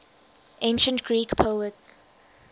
ancient greek poets